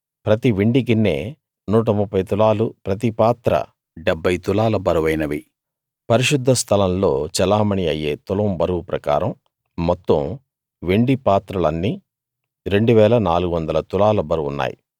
ప్రతి వెండి గిన్నే 130 తులాలు ప్రతి పాత్రా 70 తులాల బరువైనవి పరిశుద్ధ స్థలంలో చెలామణీ అయ్యే తులం బరువు ప్రకారం మొత్తం వెండి పాత్రలన్నీ 2 400 తులాల బరువు ఉన్నాయి